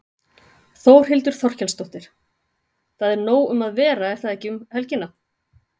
Þórhildur Þorkelsdóttir: Það er nóg um að vera er það ekki um helgina?